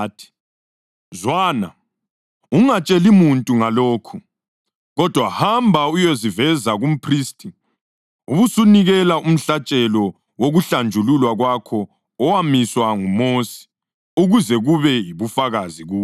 “Zwana, ungatsheli muntu ngalokhu. Kodwa hamba uyeziveza kumphristi ubusunikela umhlatshelo wokuhlanjululwa kwakho owamiswa nguMosi ukuze kube yibufakazi kubo.”